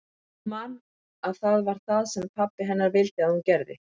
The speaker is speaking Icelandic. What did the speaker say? Hún man að það var það sem pabbi hennar vildi að hún gerði.